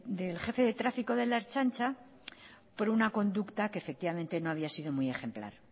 del jefe de tráfico de la ertzaintza por una conducta que efectivamente no había sido muy ejemplar